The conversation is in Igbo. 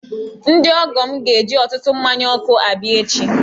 Ndị ọgọ m ga-eji ọtụtụ mmanya ọkụ abịa echi.